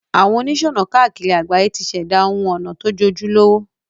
Àwon onísònà kákìri àgbáyé ti sèdá oun onà to jojúlówó